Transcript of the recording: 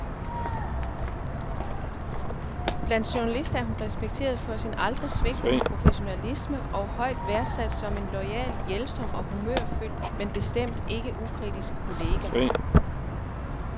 Blandt journalister er hun respekteret for sin aldrig svigtende professionalisme og højt værdsat som en loyal, hjælpsom og humørfyldt, men bestemt ikke ukritisk, kollega.